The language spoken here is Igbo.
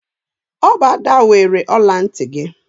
Ọ bụ Ada weere ọla ntị gị.